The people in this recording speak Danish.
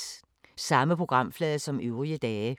Samme programflade som øvrige dage